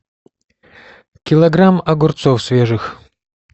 килограмм огурцов свежих